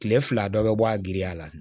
Kile fila dɔ bɛ bɔ a giriya la